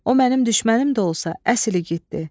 O mənim düşmənim də olsa əsl igiddir.